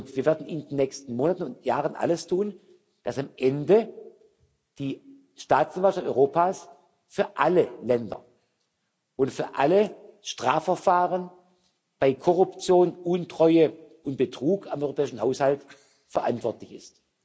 Wir werden in den nächsten Monaten und Jahren alles tun, dass am Ende die Staatsanwaltschaft Europas für alle Länder und für alle Strafverfahren bei Korruption, Untreue und Betrug am europäischen Haushalt verantwortlich ist.